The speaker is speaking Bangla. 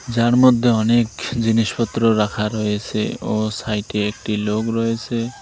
যার মধ্যে অনেক জিনিসপত্র রাখা রয়েছে ও সাইডে একটি লোক রয়েছে।